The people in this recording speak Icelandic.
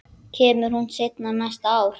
Kemur hún seinna næsta ár?